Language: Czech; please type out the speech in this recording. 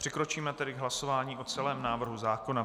Přikročíme tedy k hlasování o celém návrhu zákona.